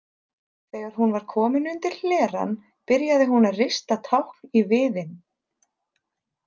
Þegar hún var komin undir hlerann byrjaði hún að rista tákn í viðinn.